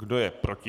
Kdo je proti?